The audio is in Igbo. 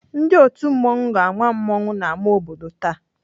Ndị otu mmanwụ ga-ama mmanwụ n'ámá obodo taa.